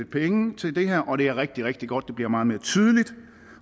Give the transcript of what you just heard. penge til det her og det er rigtig rigtig godt at det bliver meget mere tydeligt